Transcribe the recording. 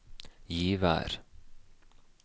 Givær